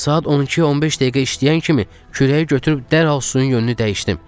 Saat 12:15 dəqiqə işləyən kimi kürəyi götürüb dərhal suyun yönünü dəyişdim.